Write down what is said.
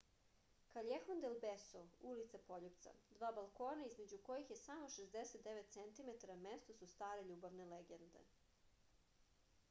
каљехон дел бесо улица пољупца. два балкона између којих је само 69 центиметара место су старе љубавне легенде